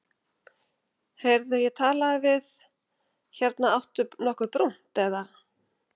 Heyrðu ég talaði við. hérna áttu nokkuð brúnt, eða?